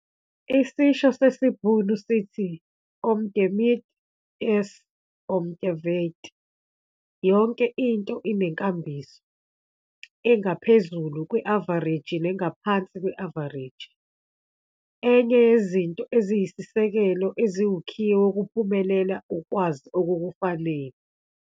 ISISHO SESIBHUNU SITHI- 'OM TE MEET, IS OM TE WEET'. YONKE INTO INENKAMBISO, ENGAPHEZULU KWE-AVAREJI NENGAPHANSI KWE-AVAREJI. ENYE YEZINTO EZIYISISEKELO EZIWUKHIYE WOKUPHUMELELA UKWAZI OKUKUFANELE.